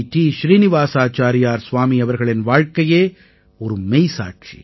ஸ்ரீநிவாஸாச்சாரியார் ஸ்வாமி அவர்களின் வாழ்க்கையே ஒரு மெய்சாட்சி